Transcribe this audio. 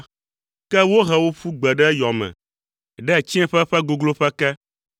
Ke wohe wò ƒu gbe ɖe yɔ me, ɖe tsiẽƒe ƒe gogloƒe ke.